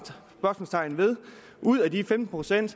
ud af de femten procent